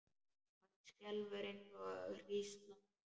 Hann skelfur eins og hrísla.